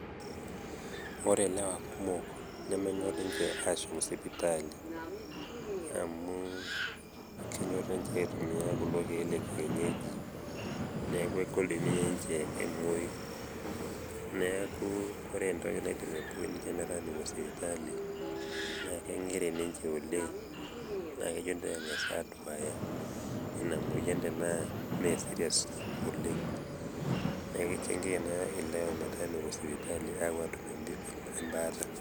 Ore ilewa kumok nemenyor ninje aashom sipitali, amu kenyorr ninje aitumiya kulo keek lekeienyeji neeku egol teneeku ninje emoy. Neeku entoki nabo naidimi aiboo ninje metaa mepuo sipitali, naa kinkiri ninje oleng' neeku kejo peengas aduaaya inamoyian tenaa te serious oleng'.neeku kichangia ina ilewa metaa mepuo sipitali aatum embaata.